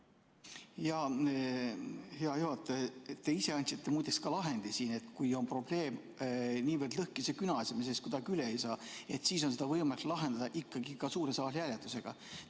Jaa, hea juhataja, te ise andsite muide ka lahendi siin: kui probleemiga ollakse niivõrd lõhkise küna ees, et me sellest kuidagi üle ei saa, siis on seda võimalik lahendada ikkagi ka suure saali hääletusega.